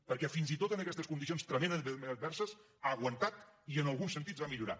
perquè fins i tot en aquestes condicions tremendament adverses ha aguantat i en alguns sentits ha millorat